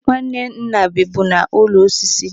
Nwanne nna bibu n'ụlọ osisi.